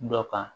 Dɔ kan